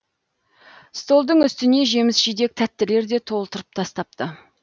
столдың үстіне жеміс жидек тәттілерді толтырып тастапты